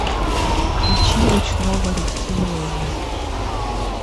включи ручного рептилоида